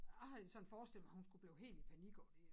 Jeg havde jo sådan forestillet mig hun skulle blive helt i panik over det